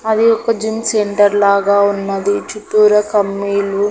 అది ఒక gym centre లాగా ఉన్నది చుట్టూరా కమ్మీలు--